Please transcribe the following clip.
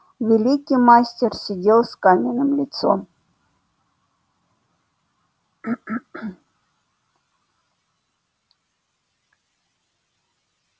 великий мастер сидел с каменным лицом